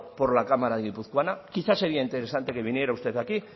por la cámara guipuzcoana quizá sería interesante que viniera usted aquí